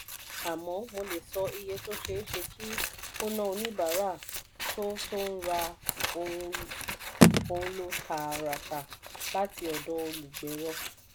àmọ́ mo lè sọ iye tó ṣeé ṣe kí ó ná oníbàárà tó tó ń ra ohun ló tààràtà láti ọ̀dọ̀ olùgbéró.